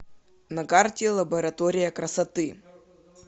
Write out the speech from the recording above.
на карте лаборатория красоты